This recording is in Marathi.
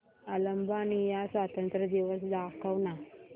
अल्बानिया स्वातंत्र्य दिवस दाखव ना